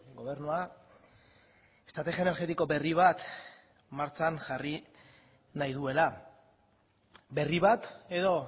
gobernua estrategia energetiko berri bat martxan jarri nahi duela berri bat edo